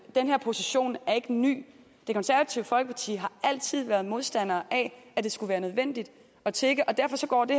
den her position er ikke ny det konservative folkeparti har altid været modstandere af at det skulle være nødvendigt at tigge og derfor går det